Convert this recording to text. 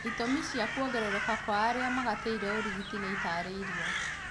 Itũmi cia kuongerereka kwa arĩa magatĩire ũrigiti nĩ itaarĩirio